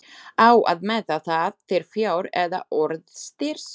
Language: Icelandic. Á að meta það til fjár eða orðstírs?